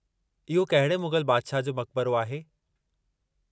इहो कहिड़े मुग़ल बादिशाह जो मक़बरो आहे?